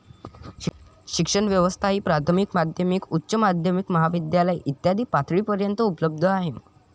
शिक्षण व्यवस्था ही प्राथमिक, माध्यमिक, उच्च माध्यमिक, महाविद्यालय इत्यादी पातळीपर्यन्त उपलब्ध आहे.